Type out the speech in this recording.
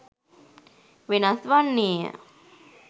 වෙනස් වන්නේය.